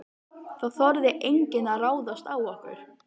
Það þorði enginn að ráðast á okkur.